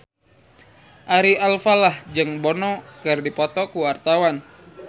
Ari Alfalah jeung Bono keur dipoto ku wartawan